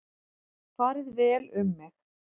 Farið vel um mig?